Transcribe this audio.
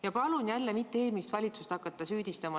Ja palun jälle mitte hakata eelmist valitsust süüdistama!